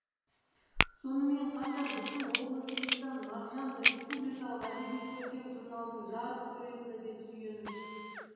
сонымен қатар біздің облысымыздан мағжан республикалық әдеби көркем журналдың жарық көретіні де сүйеніш